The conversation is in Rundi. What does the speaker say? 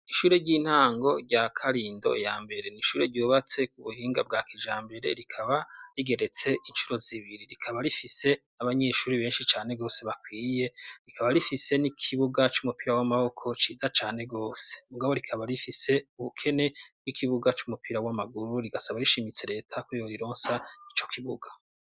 Ishure ry'intango rya karindo ya mbere ni ishure ryubatse ku buhinga bwa kijambere rikaba rigeretse incuro zibiri. Rikaba rifise n'abanyeshuri benshi cane gose bakwiye, rikaba rifise n'ikibuga c'umupira w'amaboko ciza cane rwose . Mugabo rikaba rifise ubukene bw'ikibuga c'umupira w'amaguru, rigasaba rishimitse leta ko yorironsa ico kibuga.